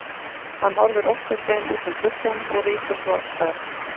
Hann horfir óttasleginn út um gluggann og rýkur svo af stað.